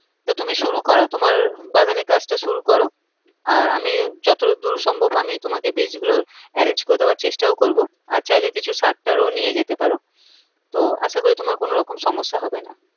তো তুমি শুরু করো তোমার বাগানের কাজ টা শুরু করো আর আমি যত দূর সম্ভব আমি তোমাকে বীজ গুলো arrange করে দেওযার চেষ্টাও করবো আর চাইলে কিছু সার টার ও নিয়ে যেতে পারো তো আশা করি তোমার কোনো রকম সম্যসা হবে না।